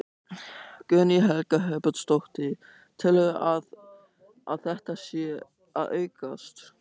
Guðný Helga Herbertsdóttir: Telurðu að, að þetta sé að aukast?